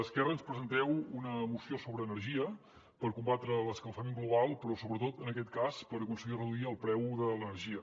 esquerra ens presenteu una moció sobre energia per combatre l’escalfament global però sobretot en aquest cas per aconseguir reduir el preu de l’energia